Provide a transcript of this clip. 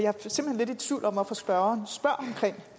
høre